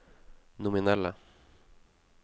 nominelle